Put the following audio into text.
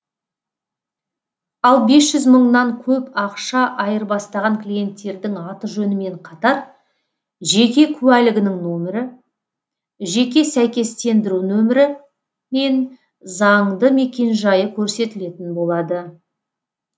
ал бес жүз мыңнан көп ақша айырбастаған клиенттердің аты жөнімен қатар жеке куәлігінің нөмірі жеке сәйкестендіру нөмірі мен заңды мекенжайы көрсетілетін болады